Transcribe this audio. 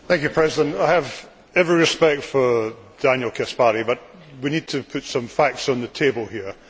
Mr President, I have every respect for Daniel Caspary, but we need to put some facts on the table here.